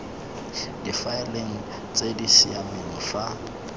difaeleng tse di siameng fa